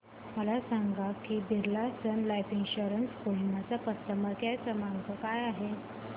मला हे सांग की Birla Sun Life Insurance Kohima चा कस्टमर केअर क्रमांक काय आहे